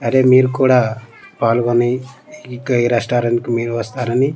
అరే మీరు కూడా పాల్గొని ఇక ఈ రెస్టారెంట్ కి మీరు వస్తారని--